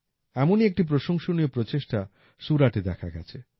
এমনই একটি প্রশংসনীয় প্রচেষ্টা সুরাটে দেখা গেছে